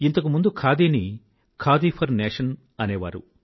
ఇంతకు ముందు ఖాదీని ఖాదీ ఫర్ నేషన్ అనేవారు